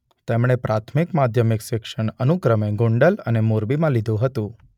તેમણે પ્રાથમિક-માધ્યમિક શિક્ષણ અનુક્રમે ગોંડલ અને મોરબીમાં લીધું હતું.